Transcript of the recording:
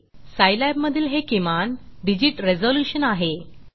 Scilabसाईलॅब मधील हे किमान डिजिट रेज़ल्यूशन आहे